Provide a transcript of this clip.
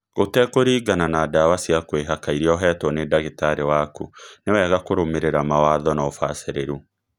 Gũtekũringana na ndawa cia kwĩhaka irĩa ũhetwo nĩ ndagĩtarĩ waku, ni wega kũrũmĩrĩra mawatho na ũbacĩrĩru